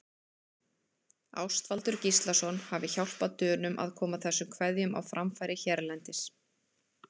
Ástvaldur Gíslason hafi hjálpað Dönum að koma þessum kveðjum á framfæri hérlendis.